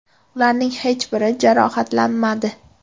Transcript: Ularning hech biri jarohatlanmadi.